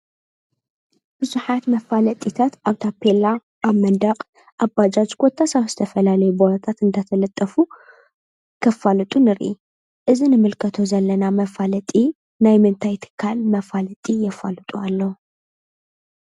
ብዙኃት መፋለጢታት ኣብ ፔላ ኣብ መዳቕ ኣባጃጅ ጐታ ኣብስተፈላለይበልታት እንተተለጠፉ ኸፋልጡ ንሪ እዝ ንምልከቶ ዘለና መፋለጢ ናይ መንታይቲካል መፋለጢ የፋልጡ ኣለ